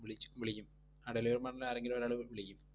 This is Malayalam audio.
വിളിച്ച്~ വിളിക്കും. ആ delivery partner ആരെങ്കിലും ഒരാൾ വിളിക്കും